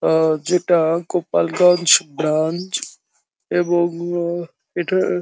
আ যেটা গোপালগঞ্জ ব্রাঞ্চ এবং আ এটার --